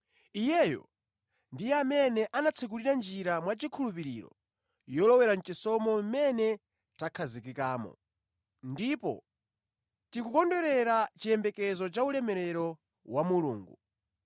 Iyeyo ndiye amene anatsekulira njira mwachikhulupiriro yolowera mʼchisomo mʼmene takhazikikamo. Ndipo tikukondwerera chiyembekezo cha ulemerero wa Mulungu.